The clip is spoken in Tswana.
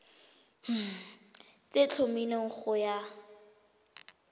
tse di tlhomilweng go ya